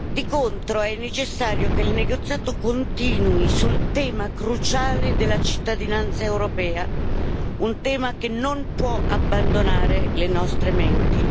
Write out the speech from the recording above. Di contro, è necessario che il negoziato continui sul tema cruciale della cittadinanza europea, un tema che non può abbandonare le nostre menti.